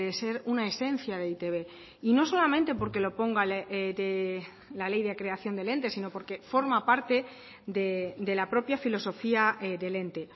ser una esencia de eitb y no solamente porque lo ponga la ley de creación del ente sino porque forma parte de la propia filosofía del ente